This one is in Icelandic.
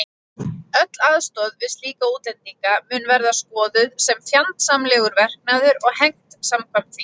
Öll aðstoð við slíka útlendinga mun verða skoðuð sem fjandsamlegur verknaður og hegnt samkvæmt því.